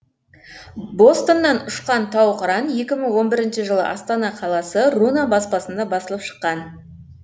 бостаннан ұшқан тау қыран екі мың он бірінші жылы астана қаласы руна баспасында басылып шыққан кітап